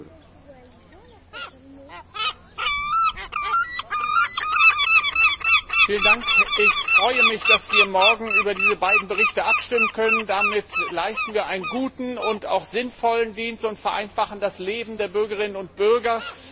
Herr Präsident! Ich freue mich, dass wir morgen über diese beiden Berichte abstimmen können. Damit leisten wir einen guten und auch sinnvollen Dienst und vereinfachen das Leben der Bürgerinnen und Bürger.